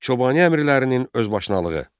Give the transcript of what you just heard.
Çobani əmirlərinin özbaşınalığı.